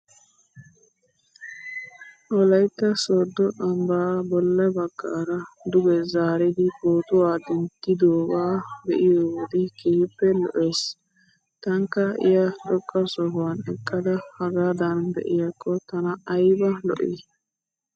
Wolaytta sooddo ambbaa bolla bagaara duge zaaridi pootuwaa denttidoogaa be'iyoo wode keehippe lo'es. Tankka iaai xoqqa sohuwan eqqada hegaadan be'iyaakko tana ayba lo'ii?